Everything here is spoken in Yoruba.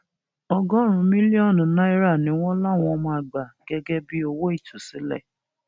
ọgọrùnún mílíọnù náírà ni wọn láwọn máa gbà gẹgẹ bíi owó ìtúsílẹ